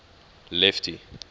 lefty